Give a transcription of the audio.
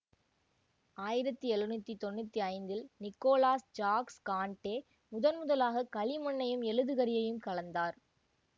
ஆயிரத்தி எழுநூற்றி தொன்னூற்தி ஐந்தில் நிக்கோலாஸ் ஜாக்ஸ் கான்ட்டே முதன்முதலாக களிமண்ணையும் எழுதுகரியையும் கலந்தார்